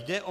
Jde o